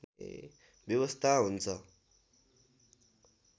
व्यवस्था हुन्छ